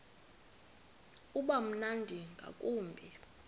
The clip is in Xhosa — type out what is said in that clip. uba mnandi ngakumbi